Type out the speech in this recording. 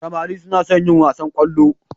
Samari suna son yin wasan kwallo.